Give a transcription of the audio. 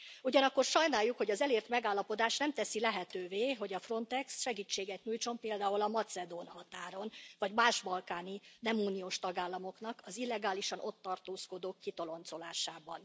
Ugyanakkor sajnáljuk, hogy az elért megállapodás nem teszi lehetővé, hogy a Frontex segítséget nyújtson például a macedón határon, vagy más balkáni, nem uniós tagállamoknak az illegálisan ott tartózkodók kitoloncolásában.